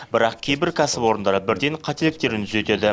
бірақ кейбір кәсіпорындар бірден қателіктерін түзетеді